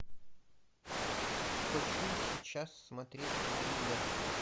хочу сейчас смотреть триллер